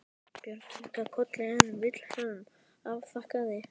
Björn kinkaði kolli en Vilhelm afþakkaði.